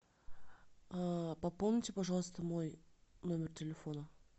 пополните пожалуйста мой номер телефона